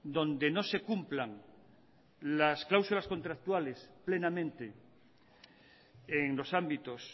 donde no se cumplan las cláusulas contractuales plenamente en los ámbitos